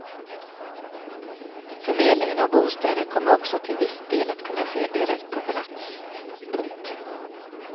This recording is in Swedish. Förmedling av bostäder kommer också till viss del att kunna ske direkt på plats. punkt